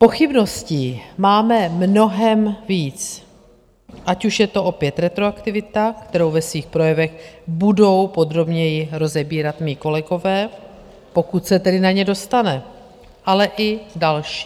Pochybností máme mnohem víc - ať už je to opět retroaktivita, kterou ve svých projevech budou podrobněji rozebírat mí kolegové, pokud se tedy na ně dostane, ale i další.